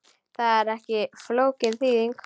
Þetta er ekki flókin þýðing.